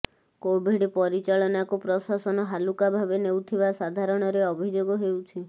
Covid ପରିଚାଳନାକୁ ପ୍ରଶାସନ ହାଲୁକା ଭାବେ ନେଉଥିବା ସାଧାରଣରେ ଅଭିଯୋଗ ହେଉଛି